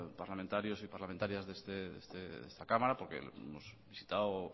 parlamentarios y parlamentarias de esta cámara porque hemos visitado